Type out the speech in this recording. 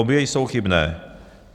Obě jsou chybné.